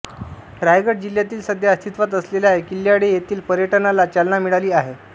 रायगड जिल्ह्यातील सध्या अस्तित्वात असलेल्या किल्यांळे येथील पर्यटनाला चालना मिळाली आहे